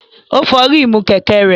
Ó fọ ríìmù kẹ̀kẹ́ rẹ̀.